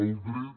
el dret